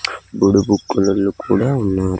గొడుగు కలర్లు కూడా ఉన్నారు.